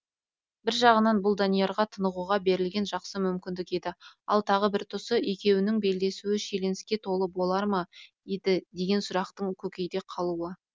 бір жағынан бұл даниярға тынығуға берілген жақсы мүмкіндік еді ал тағы бір тұсы екеуінің белдесуі шиеленіске толы болар ма еді деген сұрақтың көкейде қалуы